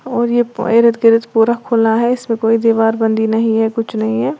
और ये इर्द गिर्द पूरा खुला है इसमें कोई दीवार बंधी नहीं है कुछ नहीं है।